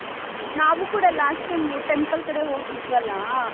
ನಾವು ಕೂಡ last time temple ಕಡೆ ಹೋಗಿದ್ರಲ್ಲ .